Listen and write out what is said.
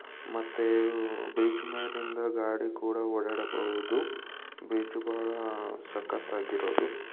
ಮತ್ತೆ ಇ-ವ್ ಬ್ರಿಡ್ಜ್ ಮೇಲಿಂದ ಗಾಡಿ ಕೂಡ ಓಡಾಡಬಹುದು ಬ್ರಿಡ್ಜ್ ಬಹಳ ಸಕ್ಕತಾಗಿರೋದು.